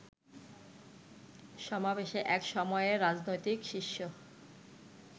সমাবেশে এক সময়ের রাজনৈতিক শিষ্য